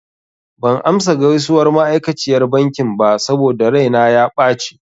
Ban amsa gaisuwar ma'aikaciyar bankin ba saboda raina ya ɓace.